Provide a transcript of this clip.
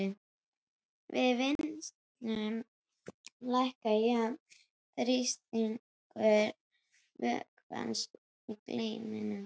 Við vinnsluna lækkar jafnan þrýstingur vökvans í geyminum.